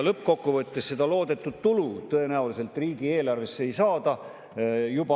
Lõppkokkuvõttes seda loodetud tulu tõenäoliselt riigieelarvesse ei saada.